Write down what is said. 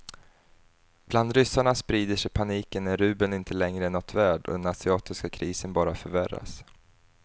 Bland ryssarna sprider sig paniken när rubeln inte längre är något värd och den asiatiska krisen bara förvärras.